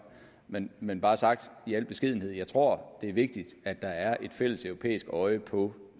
men men bare sagt i al beskedenhed jeg tror det er vigtigt at der er et fælleseuropæisk øje på